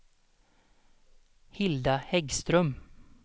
Hilda Häggström